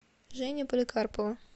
женя поликарпова